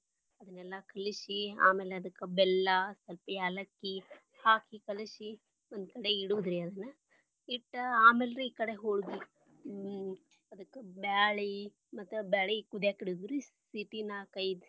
ಅದನೆಲ್ಲಾ ಕಲಿಸಿ. ಆಮೇಲೆ ಅದಕ್ಕ ಬೆಲ್ಲಾ ಸ್ವಲ್ಪ ಯಾಲಕ್ಕಿ ಹಾಕಿ ಕಲಿಸಿ ಒಂದ ಕಡೆ ಇಡುದ ರೀ ಅದನ್ನ ಇಟ್ಟ ಆಮೇಲೆ ರೀ ಈ ಕಡೆ ಹೊಳಗಿ ಹ್ಮ್ ಅದಕ್ಕ ಬ್ಯಾಳಿ ಮತ್ತ ಬ್ಯಾಳಿ ಕುದ್ಯಕ ಇಡುದರೀ. ಸಿಟಿ ನಾಲ್ಕ್ ಐದ್.